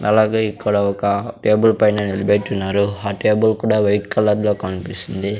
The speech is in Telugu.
అలాగే ఇక్కడ ఒక టేబుల్ పైన నిలబెట్టినారు ఆ టేబుల్ కూడా వైట్ కలర్లో కనిపిస్తుంది.